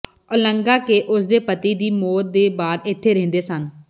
Olga ਕੇ ਉਸ ਦੇ ਪਤੀ ਦੀ ਮੌਤ ਦੇ ਬਾਅਦ ਇੱਥੇ ਰਹਿੰਦੇ ਸਨ